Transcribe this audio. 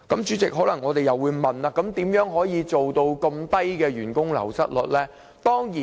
我們可能會問，如何能夠做到這麼低的員工流失率？